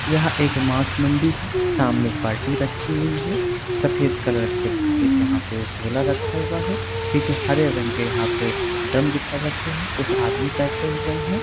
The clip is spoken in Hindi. यहाँ एक मास मंडी है सामने एक बाल्टी राखी हुई है सफेद कलर के एक यहाँ पे झोला रखा हुआ है पीछे हरे रंग के यहाँ पे ड्रम दिखाई दे रहे है कुछ आदमी बैठे हुए हैं।